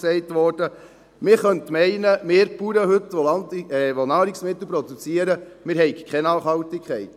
Man könnte meinen, wir Bauern, die wir heute Nahrungsmittel produzieren, hätten keine Nachhaltigkeit.